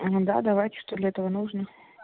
да давайте что для этого нужно